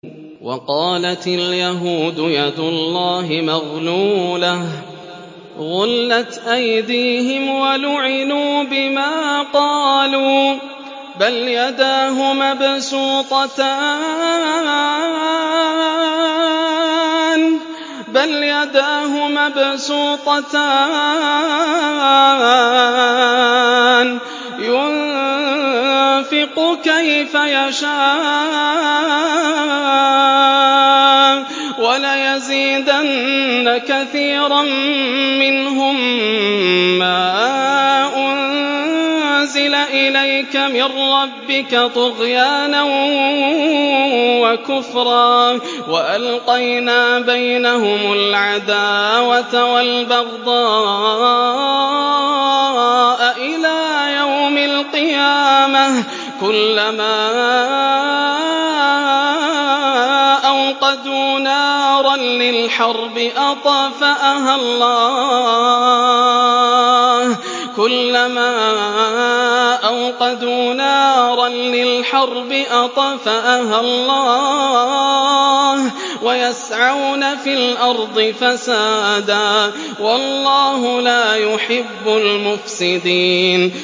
وَقَالَتِ الْيَهُودُ يَدُ اللَّهِ مَغْلُولَةٌ ۚ غُلَّتْ أَيْدِيهِمْ وَلُعِنُوا بِمَا قَالُوا ۘ بَلْ يَدَاهُ مَبْسُوطَتَانِ يُنفِقُ كَيْفَ يَشَاءُ ۚ وَلَيَزِيدَنَّ كَثِيرًا مِّنْهُم مَّا أُنزِلَ إِلَيْكَ مِن رَّبِّكَ طُغْيَانًا وَكُفْرًا ۚ وَأَلْقَيْنَا بَيْنَهُمُ الْعَدَاوَةَ وَالْبَغْضَاءَ إِلَىٰ يَوْمِ الْقِيَامَةِ ۚ كُلَّمَا أَوْقَدُوا نَارًا لِّلْحَرْبِ أَطْفَأَهَا اللَّهُ ۚ وَيَسْعَوْنَ فِي الْأَرْضِ فَسَادًا ۚ وَاللَّهُ لَا يُحِبُّ الْمُفْسِدِينَ